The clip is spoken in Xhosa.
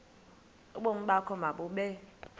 ubomi bakho mabube